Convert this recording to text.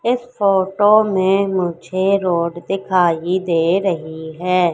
इस फोटो में मुझे रोड दिखाई दे रही है।